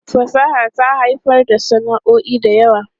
Fasaha ta haifar da sana'o'i da yawa.